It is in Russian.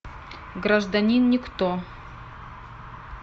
гражданин никто